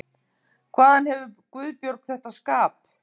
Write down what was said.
Hvaðan hefur Guðbjörg þetta skap?